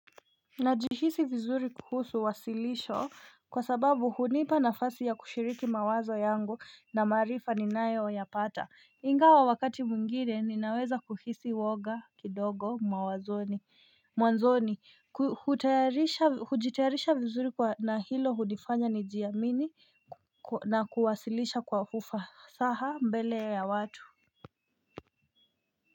Najihisi vizuri kuhusu wasilisho kwa sababu hunipa nafasi ya kushiriki mawazo yangu na maarifa ninayo yapata ingawa wakati mwingine ninaweza kuhisi woga kidogo mawazoni Mwanzoni kujitayarisha vizuri na hilo hunifanya nijiamini na kuwasilisha kwa ufasaha mbele ya watu.